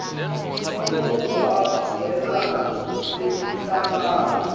ncono kuhambelana nekuhlangana